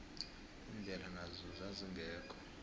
indlela nazo zazingekho